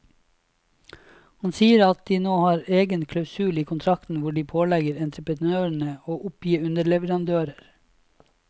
Han sier at de nå har egen klausul i kontrakten hvor de pålegger entreprenøren å oppgi underleverandører.